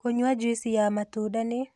Kũnyua jũĩcĩ ya matũnda nĩ